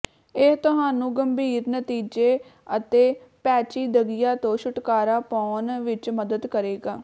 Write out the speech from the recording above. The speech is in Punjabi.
ਇਹ ਤੁਹਾਨੂੰ ਗੰਭੀਰ ਨਤੀਜੇ ਅਤੇ ਪੇਚੀਦਗੀਆਂ ਤੋਂ ਛੁਟਕਾਰਾ ਪਾਉਣ ਵਿੱਚ ਮਦਦ ਕਰੇਗਾ